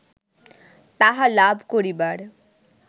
তাহা লাভ করিবার